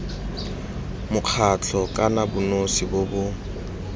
mokgatlho kana bonosi bo bo